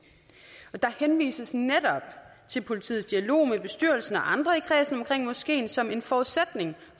og der henvises netop til politiets dialog med bestyrelsen og andre i kredsen omkring moskeen som en forudsætning